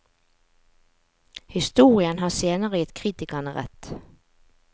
Historien har senere gitt kritikerne rett.